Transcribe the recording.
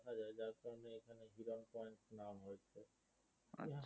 আচ্ছা